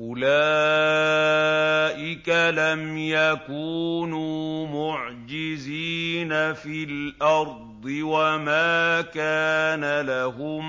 أُولَٰئِكَ لَمْ يَكُونُوا مُعْجِزِينَ فِي الْأَرْضِ وَمَا كَانَ لَهُم